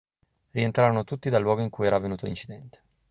rientrarono tutti dal luogo in cui era avvenuto l'incidente